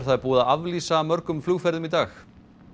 það er búið að aflýsa mörgum flugferðum í dag